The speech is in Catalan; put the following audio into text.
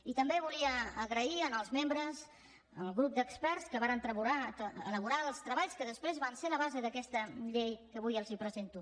i també volia donar les gràcies al grup d’experts que varen elaborar els treballs que després van ser la base d’aquesta llei que avui els presento